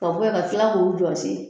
Ka bɔ yan ka kila k'o jɔsi